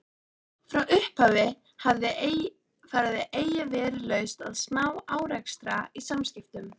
Frá upphafi hafði eigi verið laust við smá-árekstra í samskiptum